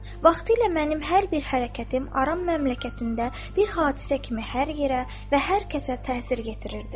Vaxtilə mənim hər bir hərəkətim Aram məmləkətində bir hadisə kimi hər yerə və hər kəsə təsir gətirirdi.